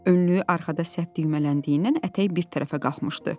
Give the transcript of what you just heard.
Önlüyü arxada səhv düymələndiyindən ətəyi bir tərəfə qalxmışdı.